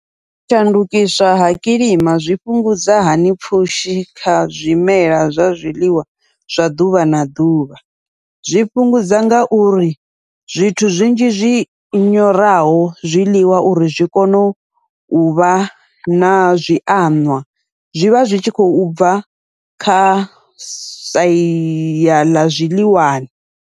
U shandukiswa ha kilima zwi fhungudza hani pfhushi kha zwimela zwa zwiḽiwa zwa ḓuvha na ḓuvha, zwi fhungudza ngauri zwithu zwinzhi zwi nyoraho zwiḽiwa uri zwi kone uvha na zwi anwa zwivha zwi tshi khou bva kha sia ḽa zwiḽiwani.